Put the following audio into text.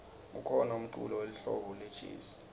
kukhona umculo welihlobo lejezi